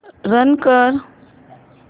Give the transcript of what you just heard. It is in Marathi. रन कर